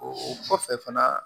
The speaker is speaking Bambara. O kɔfɛ fana